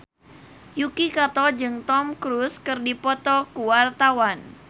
Yuki Kato jeung Tom Cruise keur dipoto ku wartawan